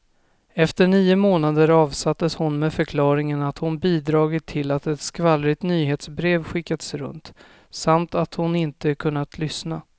Efter nio månader avsattes hon med förklaringen att hon bidragit till att ett skvallrigt nyhetsbrev skickats runt, samt att hon inte kunnat lyssna.